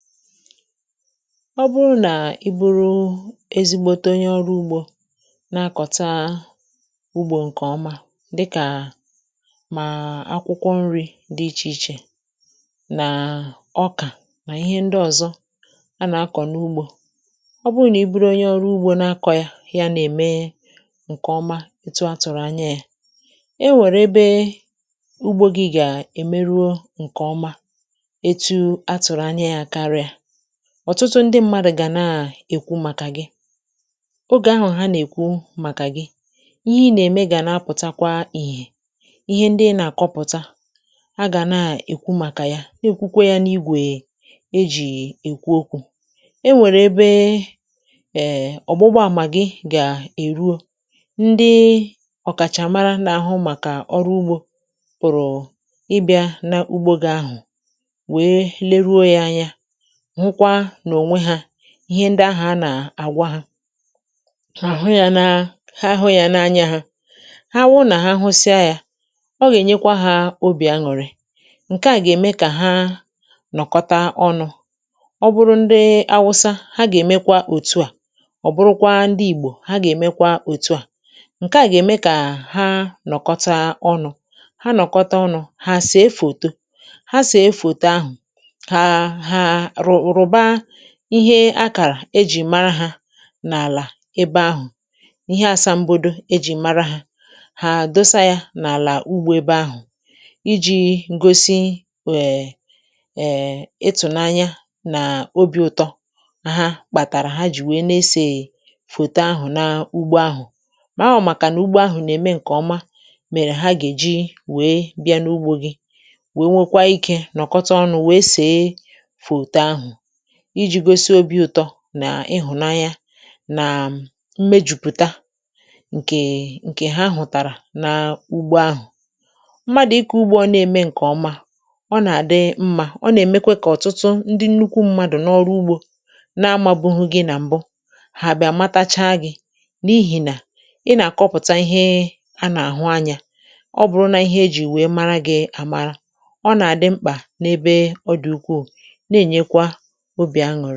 ọ bụrụ nà i buru ezigbȯte onye ọrụ ugbȯ, na-akọ̀ taa ugbȯ ǹkèọma dịkà mà akwụkwọ nri̇ dị ichè ichè, nà ọkà, nà ihe ndị ọ̀zọ a nà-akọ̀ n’ugbȯ ọ bụrụ nà i buru onye ọrụ ugbȯ na-akọ̇ yȧ, yȧ nà-ème ǹkèọma ètù a tụ̀rụ̀ anya yȧ, e nwèrè ebe ugbȯ gị̇ gà-èmeruo ǹkèọma. Ọ̀tụtụ ndị mmadụ̀ gà nà-èkwu màkà gị; ogè ahụ̀ ha nà-èkwu màkà gị, ihe nà-ème gà na-apụ̀takwa ihè. Ihe ndị na-àkọpụ̀ta a gà na-èkwu màkà ya, na-èkwukwa ya n’igwè e jì èkwu okwu̇. E nwèrè ebe èè ọ̀gbụgbọ àmà gị gà èruo, ndị ọ̀kàchàmara n’àhụ màkà ọrụ ugbȯ pụ̀rụ̀ ịbị̇ȧ n’ugbȯ gị ahụ̀, wee lee ruo ya anya. Ihe ndị ahụ̀ a nà-àgwa hȧ, àhụ yȧ, nȧ ahụ yȧ n’anya hȧ; ha awụ nà ha hụsịa yȧ, ọ gà-ènyekwa hȧ obì aṅụ̀rị̄. Ǹkè à gà-ème kà ha nọ̀kọta ọnụ̇ ọ bụrụ ndị Awụsa, ha gà-èmekwa òtu à; ọ bụrụkwa ndị Ìgbò, ha gà-èmekwa òtu à.Ǹkè à gà-ème kà ha nọ̀kọta ọnụ̇, ha nọ̀kọta ọnụ̇, ha sì efòto, ha sì efòte; ahụ̀ wụ̀rụ̀ba ihe akàrà ejì mara hȧ n’àlà ebe ahụ̀. Ihe asambodo ejì mara hȧ, ha dosa yȧ n’àlà ugbȯ ebe ahụ̀ iji̇ ngosi èè, ịtụ̀nanya nà obi̇ ụtọ ha kpàtàrà. Ha jì wèe na-esè fòto ahụ̀ na ugbȯ ahụ̀, màa ọ̀, màkànà ugbȯ ahụ̀ nà-ème ǹkè ọma. Mèrè ha gà-èji wèe bịa n’ugbȯ gị, wèe nwekwa ikė nọ̀kpọtà ọnụ̇, wèe sì iji̇ gosi obi̇ ụ̀tọ nà ịhụ̀nanyȧ nàà mmejùpùta ǹkè ha hụ̀tàrà n’ugbȯ ahụ̀. um Mmadụ̀ ịkȧ ugbȯ ọ na-ème ǹkè ọma, ọ nà-àdị mmȧ, ọ nà-èmekwe kà ọ̀tụtụ ndị nnukwu mmadụ̀ n’ọrụ ugbȯ na-amȧbụhụ gị. Nà m̀bụ hà bị̀ àmatacha gị̇ n’ihì nà ị nà-àkọpụ̀ta ihe a nà-àhụ anyȧ. Ọ bụ̀rụ̀ nà ihe ejì wèe mara gị̇ àmara, ọ nà-àdị mkpà n’ebe ọ dị̀ ukwuù, na-ènyekwa.